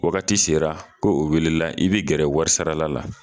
Wagati sera ko o welela i bɛ gɛrɛ warisarala la